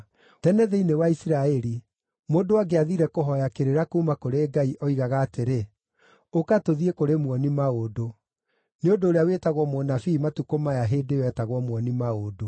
(Tene thĩinĩ wa Isiraeli, mũndũ angĩathiire kũhooya kĩrĩra kuuma kũrĩ Ngai, oigaga atĩrĩ, “Ũka, tũthiĩ kũrĩ muoni-maũndũ,” nĩ ũndũ ũrĩa wĩtagwo mũnabii matukũ maya hĩndĩ ĩyo eetagwo muoni-maũndũ.)